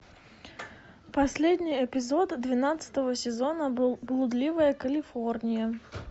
последний эпизод двенадцатого сезона блудливая калифорния